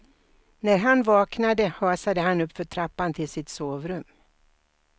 När han vaknade hasade han uppför trappan till sitt sovrum.